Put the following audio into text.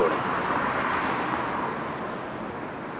चलिए शाखा में पत्तियाँ जोड़ें